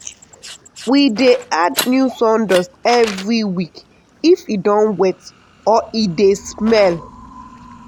we dey add new sawdust every week if e don wet or e dey smell.